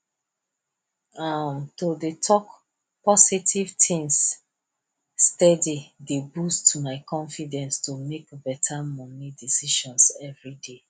um to dey talk positive things steady dey boost my confidence to make better money decisions every day